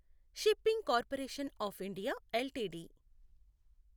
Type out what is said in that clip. shipping corporation of India LTD